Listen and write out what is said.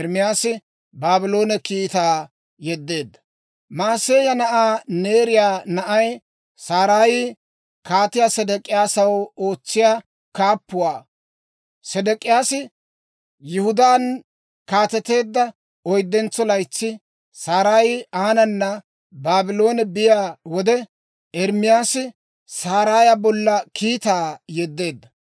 Mahiseeya na'aa Neeriyaa na'ay Saraayi Kaatiyaa Sedek'iyaasaw ootsiyaa kaappuwaa. Sedek'iyaasi Yihudaan kaateteedda oyddentso laytsi, Saraayi aanana Baabloone biyaa wode Ermaasi Saraaya bolla kiitaa yeddeedda.